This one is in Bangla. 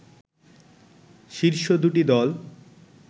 শীর্ষ দুটি দল